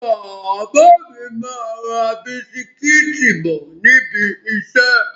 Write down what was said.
Bàbá mi máa ra bisikítì bọ̀ níbi ìṣẹ́.